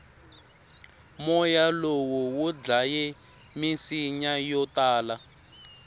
moya lowu wudlaye misinya yotala